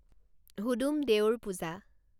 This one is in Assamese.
হুদুম দেউৰ পূজা